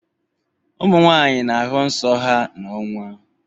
Ụmụnwanyị na ahụ nsọ ha n' ọnwa.